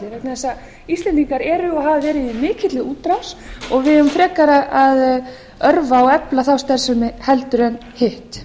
þess að íslendingar eru og hafa verið í mikilli útrás og við eigum frekar að örva og efla þá starfsemi en hitt